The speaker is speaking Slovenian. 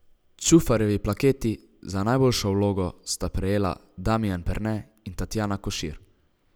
Čufarjevi plaketi za najboljšo vlogo sta prejela Damijan Perne in Tatjana Košir.